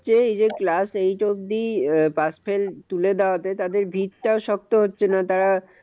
হচ্ছে এই যে class eight অব্দি আহ pass fail তুলে দেওয়াতে তাদের ভীত টাও শক্ত হচ্ছে না, তারা